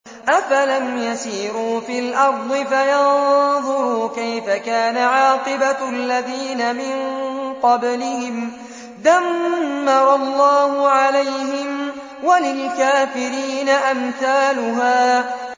۞ أَفَلَمْ يَسِيرُوا فِي الْأَرْضِ فَيَنظُرُوا كَيْفَ كَانَ عَاقِبَةُ الَّذِينَ مِن قَبْلِهِمْ ۚ دَمَّرَ اللَّهُ عَلَيْهِمْ ۖ وَلِلْكَافِرِينَ أَمْثَالُهَا